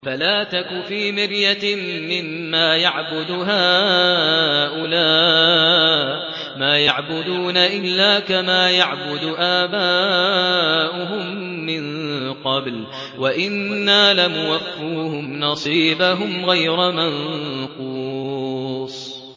فَلَا تَكُ فِي مِرْيَةٍ مِّمَّا يَعْبُدُ هَٰؤُلَاءِ ۚ مَا يَعْبُدُونَ إِلَّا كَمَا يَعْبُدُ آبَاؤُهُم مِّن قَبْلُ ۚ وَإِنَّا لَمُوَفُّوهُمْ نَصِيبَهُمْ غَيْرَ مَنقُوصٍ